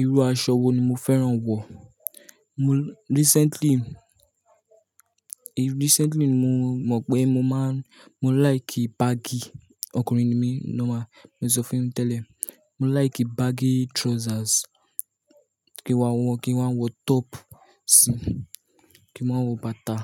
Irú aṣọ wo ni mo fẹ́ràn wọ̀? Recently ni mo mọ̀ pé mo like baggi. Ọkùnrin ni mí normal, mo sọ fún yín tẹ́lẹ̀. Mo like baggi trousers kí waa wọ top sí i, kí waa wọ bàtà.